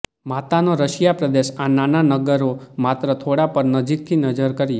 માતાનો રશિયા પ્રદેશ આ નાના નગરો માત્ર થોડા પર નજીકથી નજર કરીએ